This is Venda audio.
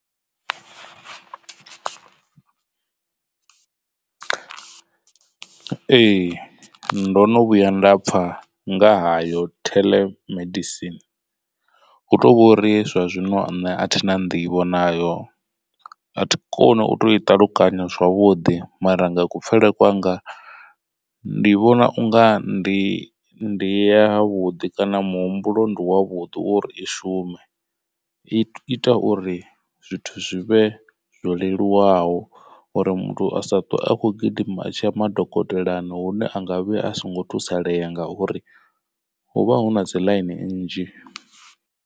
Ee ndo no vhuya nda pfha nga hayo theḽemedisini, hu tovhori zwa zwino nṋe a thi na nḓivho nayo a thi koni u to i ṱalukanya zwavhuḓi. Mara nga kupfhele kwanga ndi vhona unga ndi ndi ya vhuḓi kana muhumbulo ndi wavhuḓi wo uri i shume i ita uri zwithu zwivhe zwo leluwaho. Uri muthu a sa ṱwe akho gidima tsha madokotelani hune anga vhuya a songo thusalea ngauri hu vha hu na dzi ḽaini nnzhi.